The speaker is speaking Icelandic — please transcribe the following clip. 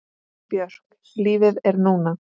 Björk Lífið er núna!